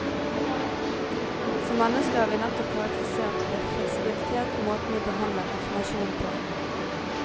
Som mennesker er vi nettopp karakterisert ved fleksibilitet i måten vi behandler informasjon på.